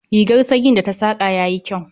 Rigar sanyin da ta saƙa yayi kyau